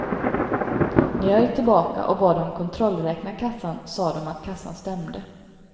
När jag gick tillbaka och bad dem kontrollräkna kassan sade de att kassan stämde.